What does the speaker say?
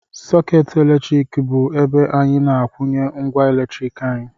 Sọkeetị eletriki bụ ebe anyị na-akwunye ngwa eletrik anyị